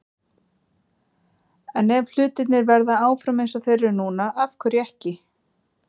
En ef hlutirnir verða áfram eins og þeir eru núna- af hverju ekki?